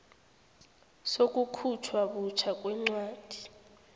sokukhutjhwa butjha kwencwadi